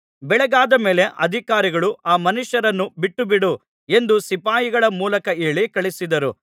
ಬೆಳಗಾದ ಮೇಲೆ ಅಧಿಕಾರಿಗಳು ಆ ಮನುಷ್ಯರನ್ನು ಬಿಟ್ಟುಬಿಡು ಎಂದು ಸಿಪಾಯಿಗಳ ಮೂಲಕ ಹೇಳಿ ಕಳುಹಿಸಿದರು